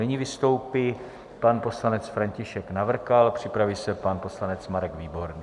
Nyní vystoupí pan poslanec František Navrkal, připraví se pan poslanec Marek Výborný.